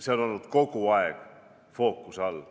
See on olnud kogu aeg fookuses.